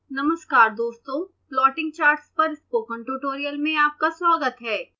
नमस्कार दोस्तों plotting charts पर स्पोकन ट्यूटोरियल में आपका स्वागत है